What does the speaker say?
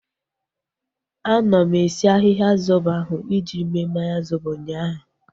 Anọ m esi ahịhịa zobo ahu iji mee mmanya zobo ụnyaahụ